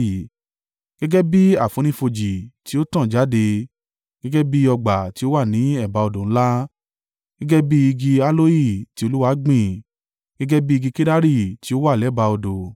“Gẹ́gẹ́ bí àfonífojì tí ó tàn jáde, gẹ́gẹ́ bí ọgbà tí ó wà ní ẹ̀bá odò ńlá, gẹ́gẹ́ bí igi aloe tí Olúwa gbìn, gẹ́gẹ́ bí igi kedari tí ó wà lẹ́bàá odò.